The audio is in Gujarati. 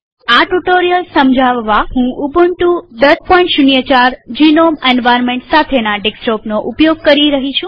આ ટ્યુ્ટોરીઅલ સમજાવવા હું ઉબુન્ટુ ૧૦૦૪જીનોમ એન્વાર્નમેન્ટ સાથેના ડેસ્કટોપનો ઉપયોગ કરી રહી છું